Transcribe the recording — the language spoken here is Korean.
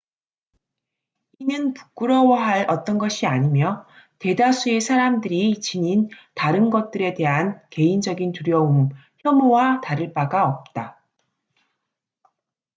이는 부끄러워할 어떤 것이 아니며 대다수의 사람들이 지닌 다른 것들에 대한 개인적인 두려움 혐오와 다를 바가 없다